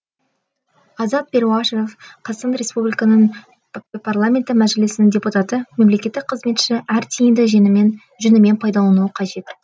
азат перуашев қазақстан республикасының парламенті мәжілісінің депутаты мемлекеттік қызметші әр тиынды жөнімен пайдалануы қажет